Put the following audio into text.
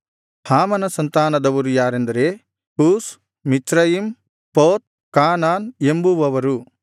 ಹಾಮನ ಸಂತಾನದವರು ಯಾರೆಂದರೆ Cush Mizraim Put Canaan ಎಂಬುವವರು